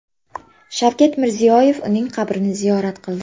Shavkat Mirziyoyev uning qabrini ziyorat qildi .